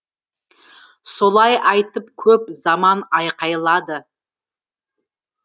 солай айтып көп заман айқайлады